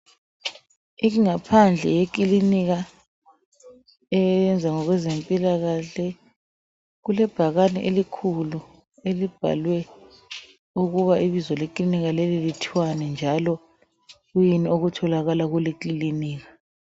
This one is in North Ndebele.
Ingaphandle eyekilinika, eyenza ngokwezempilakahle kulebhakani elikhulu elibhalwe ukuba ibizo lekilinika leli lithwani njalo yikwiyini okutholakala kuleyo kilinika.